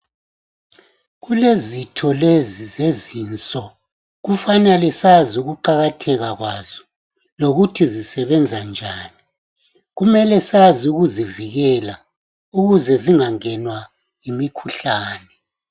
Kulezitho lezi zezinso kufanele sazi ukuqakatheka kwazo lokuthi zisebenza njani kumele sazi ukuzivikela ukuze zingangenwa yimikhuhlane.